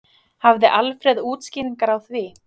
Hafði Alfreð útskýringar á því?